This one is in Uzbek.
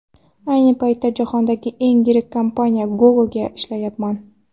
Ayni paytda jahondagi eng yirik kompaniya Google’da ishlayapman.